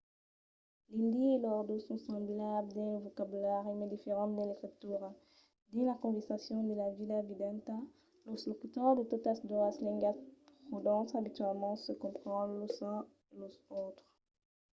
l'indi e l'ordó son semblables dins lo vocabulari mas diferents dins l'escritura; dins las conversacions de la vida vidanta los locutors de totas doas lengas pòdon abitualament se comprendre los uns e los autres